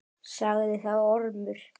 Sagði þá Ormur